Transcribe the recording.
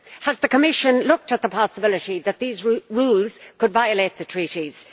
Has the Commission looked at the possibility that these rules could violate the Treaties?